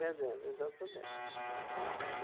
Vendendo, exatamente.